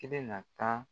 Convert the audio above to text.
I bɛna taa